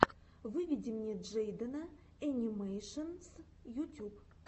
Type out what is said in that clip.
выведи мне джейдена энимэйшенс ютюб